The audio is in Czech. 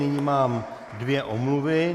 Nyní mám dvě omluvy.